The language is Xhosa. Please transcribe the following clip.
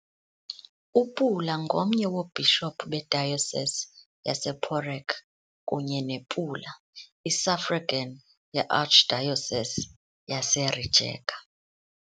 UPula ngomnye woobhishophu beDiocese yasePoreč kunye nePula, i-suffragan yeArchdiocese yaseRijeka.